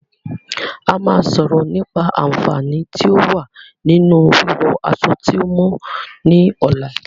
A máa sọ̀rọ̀ nípa"Aànfàní tí o wa ninu wí wọ aṣọ tí o mọ" ni ọ̀la